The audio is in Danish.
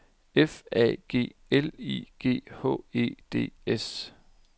F A G L I G H E D S